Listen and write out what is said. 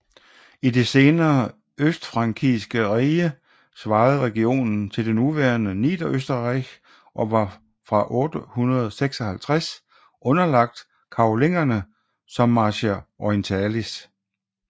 I det senere østfrankiske rige svarede regionen til det nuværende Niederösterreich og var fra 856 underlagt Karolingerne som Marchia orientalis